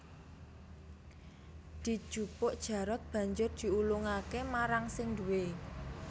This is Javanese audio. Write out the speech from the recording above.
Dijupuk Jarot banjur diulungake marang sing duwé